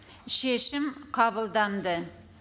шешім қабылданды